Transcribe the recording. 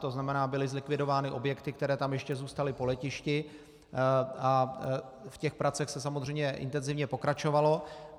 To znamená, byly zlikvidovány objekty, které tam ještě zůstaly po letišti, a v těch pracích se samozřejmě intenzivně pokračovalo.